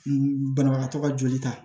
Banabagatɔ ka joli ta